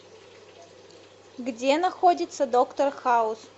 где находится доктор хаус